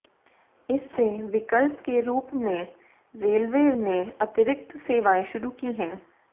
इससे विकल्प के रूप में रेलवे ने अतिरिक्त सेवाएं शुरू की हैं